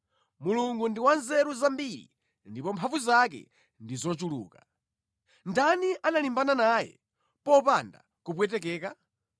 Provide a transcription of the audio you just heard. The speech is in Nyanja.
Mulungu ndi wa nzeru zambiri ndipo mphamvu zake ndi zochuluka. Ndani analimbana naye popanda kupwetekeka?